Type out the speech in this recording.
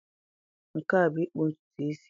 Nke a bụ ịkpụ ntutu isi.